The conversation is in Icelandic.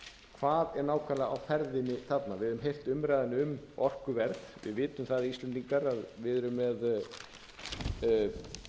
hvað er nákvæmlega á ferðinni þarna við höfum heyrt umræðuna um orkuverð við vitum það íslendingar að við erum